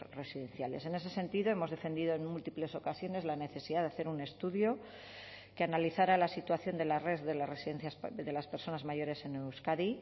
residenciales en ese sentido hemos defendido en múltiples ocasiones la necesidad de hacer un estudio que analizara la situación de la red de las residencias de las personas mayores en euskadi